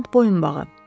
Brilyant boyunbağı.